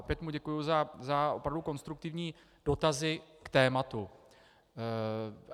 Opět mu děkuji za opravdu konstruktivní dotazy k tématu.